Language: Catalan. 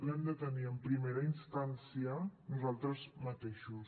l’hem de tenir en primera instància nosaltres mateixos